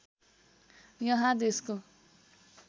यहाँ देशको